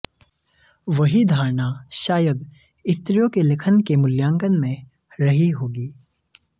वही धारणा शायद स्त्रियों के लेखन के मूल्यांकन में रही होगी